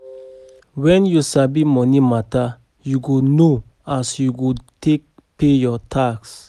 Wen you sabi moni mata, yu go know as you go take pay yur tax